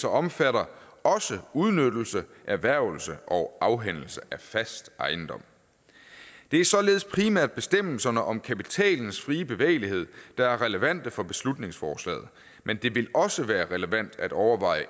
omfatter også udnyttelse erhvervelse og afhændelse af fast ejendom det er således primært bestemmelserne om kapitalens frie bevægelighed der er relevante for beslutningsforslaget men det vil også være relevant at overveje